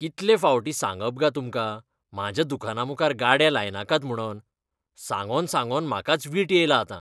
कितले फावटीं सांगप गा तुमकां म्हाज्या दुकानामुखार गाडे लायनाकात म्हुणोन? सांगोन सांगोन म्हाकाच वीट येयला आतां.